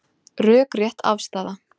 Rökrétt afstaða